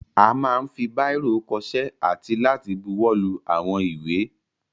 A máa ń fi báìrò kọṣẹ́ àti láti buwọ́lu àwọn ìwé.